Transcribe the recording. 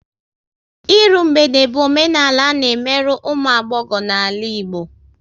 Ịrụ mgbede bụ omenala a na emerụ ụmụ agbọghọ n'ala Igbo